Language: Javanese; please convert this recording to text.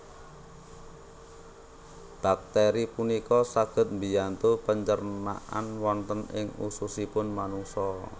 Bakteri punika saged mbiyantu pencernaan wonten ing ususipun manungsa